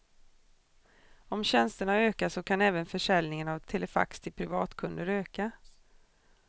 Om tjänsterna ökar, så kan även försäljningen av telefax till privatkunder öka.